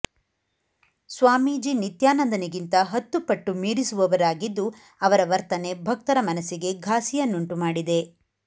ಸ್ವಾಮೀಜಿ ನಿತ್ಯಾನಂದನಿಗಿಂತ ಹತ್ತುಪಟ್ಟು ಮೀರಿಸುವವರಾಗಿದ್ದು ಅವರ ವರ್ತನೆ ಭಕ್ತರ ಮನಸ್ಸಿಗೆ ಘಾಸಿಯನ್ನುಂಟು ಮಾಡಿದೆ